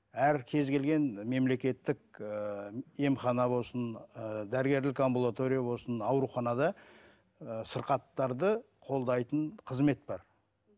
әр кез келген мемлекеттік ііі емхана болсын ыыы дәрігерлік амбулатория болсын ауруханада ыыы сырқаттарды қолдайтын қызмет бар